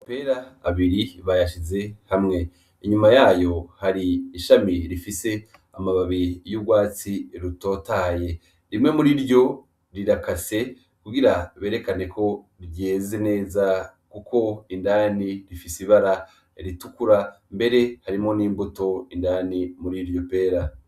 Amapera abiri bayashize hamwe ,Inyuma yayo hari ishami rifise amababi y'urwatsi rutotahaye rimwe muriryo rirakase kugirango berekane koyeze ryeze neza kuko indani rifise ibara ritukura mbere harimwi n'imbuto indani muriryo pera